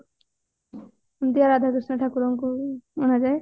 ରାଧା କୃଷ୍ଣ ଠାକୁରଙ୍କୁ ଅଣାଯାଏ